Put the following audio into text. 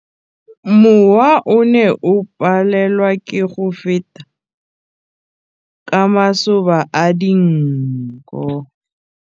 Mowa o ne o palelwa ke go feta ka masoba a dinko.